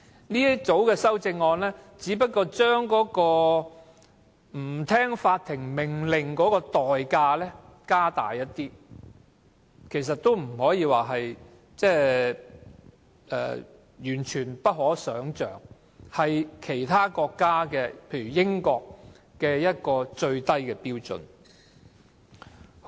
這組修正案只不過是將違反法庭命令的代價提高一些，也不可說是完全不可想象，只是相等於某些國家的最低標準。